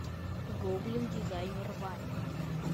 гоблин дизайнер ваня